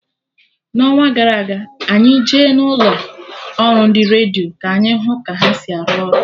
N'ọnwa gara aga, anyị Je na ụlọ ọrụ ndị redio ka anyị hụ ka ha si arụ ọrụ